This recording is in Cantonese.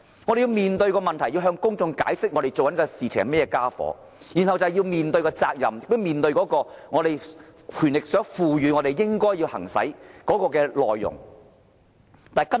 我們要面對問題，要向公眾解釋我們正在做甚麼，然後便要面對責任，以及面對我們獲賦權應要進行的工作。